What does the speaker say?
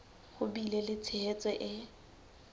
ho bile le tshehetso e